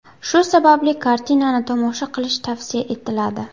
Shu sababli kartinani tomosha qilish tavsiya etiladi.